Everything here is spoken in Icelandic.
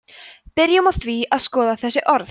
byrjum á því að skoða þessi orð